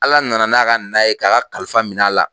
Ala nana n'a ka na ye ka ka kalifa minɛ a la.